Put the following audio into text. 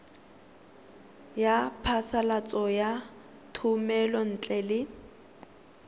ya phasalatso ya thomelontle le